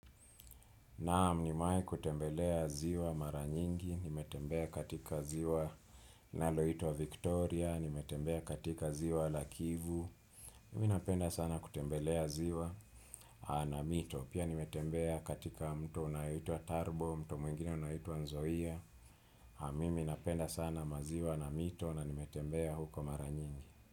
Naam nimewahi kutembelea ziwa mara nyingi, nimetembea katika ziwa inaloitwa Victoria, nimetembea katika ziwa la Kivu, mimi napenda sana kutembelea ziwa na mito, pia nimetembea katika mto unaitwa Tarbo, mto mwingine unaitwa Nzoia, mimi napenda sana maziwa na mito na nimetembea huko mara nyingi.